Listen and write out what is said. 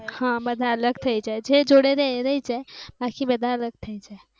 બધા અલગ થઈ જાય જે જોડે રહે એ રહે જાય બાકી બધા અલગ થઈ જાય